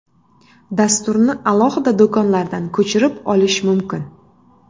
Dasturni alohida do‘konlardan ko‘chirib olish mumkin.